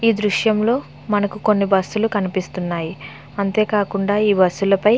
ఈ దృశ్యం లో మనకు కొన్ని బస్సు లు కనిపిస్తున్నాయి అంతేకాకుండా ఈ బస్సు ల పై --